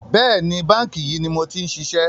Bẹ́ẹ̀ni, báńkì yìí ni mo ti ń ṣiṣẹ́